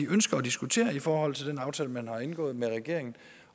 ønsker at diskutere i forhold til den aftale man har indgået med regeringen